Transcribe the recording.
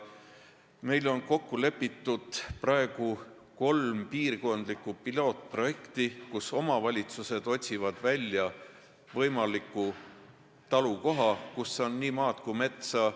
Meil on kokku lepitud kolm piirkondlikku pilootprojekti, mille raames omavalitsused otsivad välja võimaliku talukoha, kus on nii maad kui metsa.